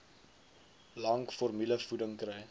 lank formulevoeding kry